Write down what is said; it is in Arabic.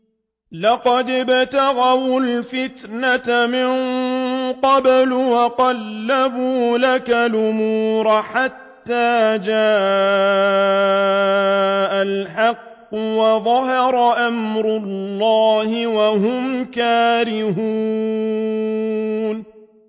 لَقَدِ ابْتَغَوُا الْفِتْنَةَ مِن قَبْلُ وَقَلَّبُوا لَكَ الْأُمُورَ حَتَّىٰ جَاءَ الْحَقُّ وَظَهَرَ أَمْرُ اللَّهِ وَهُمْ كَارِهُونَ